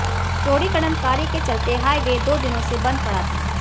चौड़ीकरण कार्य के चलते हाईवे दो दिनों से बंद पड़ा था